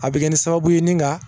A bɛ kɛ ni sababu ye ni nka